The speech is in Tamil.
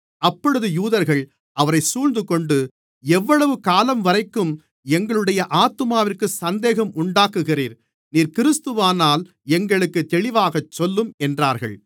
அப்பொழுது யூதர்கள் அவரை சூழ்ந்துகொண்டு எவ்வளவு காலம்வரைக்கும் எங்களுடைய ஆத்துமாவிற்குச் சந்தேகம் உண்டாக்குகிறீர் நீர் கிறிஸ்துவானால் எங்களுக்குத் தெளிவாக சொல்லும் என்றார்கள்